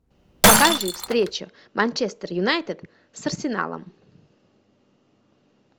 покажи встречу манчестер юнайтед с арсеналом